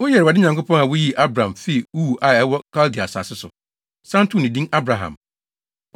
“Woyɛ Awurade Nyankopɔn a wuyii Abram fii Ur a ɛwɔ Kaldea asase so, san too no din Abraham.